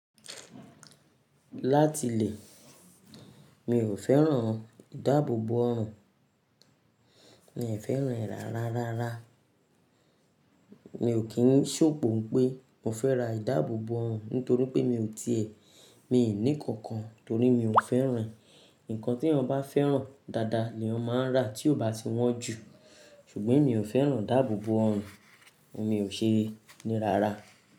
Láti ilé mi ò fẹ́ràn ìdábòbò oọrùn, mi ò fẹ́ràn ìrá. Rárá. Mi ò kí ń ṣòpó pé mo fẹ́ ra ìdábòbò ọrùn nítorí pé mi ò ti è mi ní kankan torí mi ò fẹ́ràn ìń, nǹkan tí ẹni bá fẹ́ràn dáadáa ni ó máa ń rà tí ó bá ti wọ́n jù. Ṣùgbọ́n mi ò fẹ́ràn ìdábòbò ọrùn, mo sì ṣe ní. Rárá.